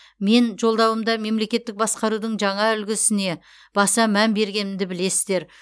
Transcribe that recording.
мен жолдауымда мемлекеттік басқарудың жаңа үлгісіне баса мән бергенімді білесіздер